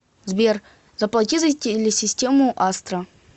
сбер заплати за телесистему астра